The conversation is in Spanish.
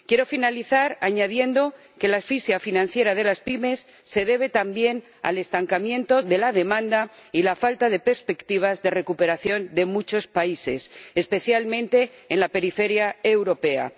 Quiero finalizar añadiendo que la asfixia financiera de las pymes se debe también al estancamiento de la demanda y la falta de perspectivas de recuperación de muchos países, especialmente en la periferia europea.